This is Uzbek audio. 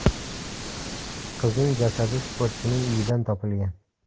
Qizning jasadi sportchining uyidan topilgan.